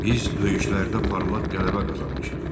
Biz döyüşlərdə parlaq qələbə qazanmışıq.